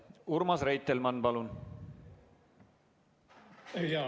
Urmas Reitelmann, palun!